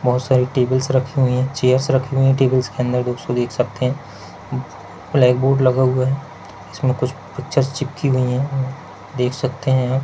बहुत सारी टेबल्स रखी हुई है चेयर्स रखी हुई है टेबल्स के अंदर कुछ देख सकते है ब्लैकबोर्ड लगा हुआ है इसमें कुछ पिक्चर्स चिपकी हुई है देख सकते है।